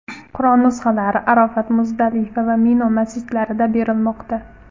Qur’on nusxalari Arofat, Muzdalifa va Mino masjidlarida berilmoqda.